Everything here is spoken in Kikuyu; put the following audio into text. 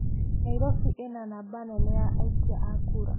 Nairobi ĩna namba nene ya aikia a kura.